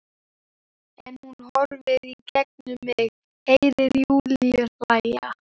En hún horfir í gegnum mig- Heyri Júlíu hlæja.